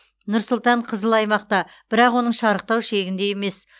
нұр сұлтан қызыл аймақта бірақ оның шарықтау шегінде емес